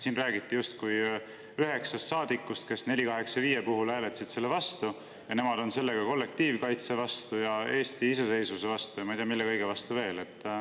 Siin räägiti justkui üheksast saadikust, kes hääletasid 485 OE vastu, ja et nemad on seega kollektiivkaitse vastu, Eesti iseseisvuse vastu ja ma ei tea, mille kõige vastu.